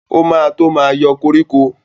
O ma tó ma yọ koríko